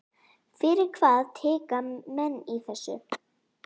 Fyrir hvað tikka menn í þessu?